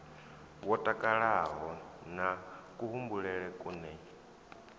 wo takalaho na kuhumbulele kune